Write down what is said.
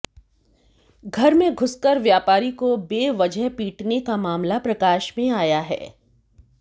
घर में घुसकर व्यापारी को बेवजह पीटने का मामला प्रकाश में आया है